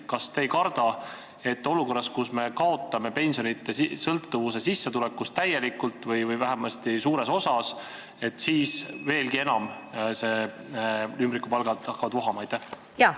Kas te ei karda, et kui me kaotame pensionite sõltuvuse sissetulekust täielikult või vähemasti suuremas osas, siis hakkavad ümbrikupalgad veelgi enam vohama?